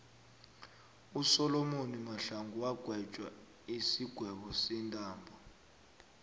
usolomoni mahlangu wagwetjwa isigwebo sentambo